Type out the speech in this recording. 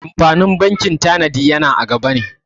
Amfanin bankin tanadi yana a gaba ne.